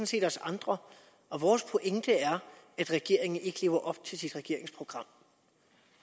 set os andre og vores pointe er at regeringen ikke lever op til sit regeringsprogram